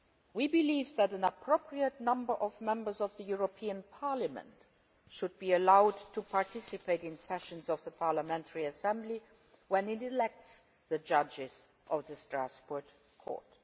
We believe that an appropriate number of Members of the European Parliament should be allowed to participate in sessions of the Parliamentary Assembly when it elects the judges of the Strasbourg Court.